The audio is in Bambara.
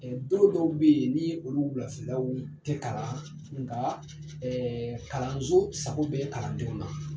Don dɔw bɛ yen ni olu wulafɛlaw tɛ kalan nka kalanso sago bɛ kalandenw na.